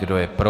Kdo je pro?